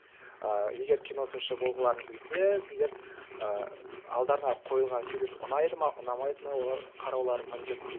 ыыы егер кино сыншы болғыларың келсе сендер ыыы алдарыңа қойылған фильм ұнайды ма ұнамайды ма оны қарауларың міндетті дейді